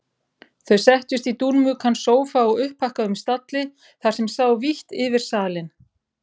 Þau settust í dúnmjúkan sófa á upphækkuðum stalli þar sem sá vítt yfir salinn.